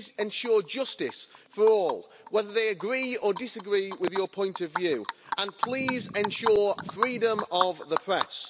Please ensure justice for all, whether they agree or disagree with your point of view, and please ensure freedom of the press.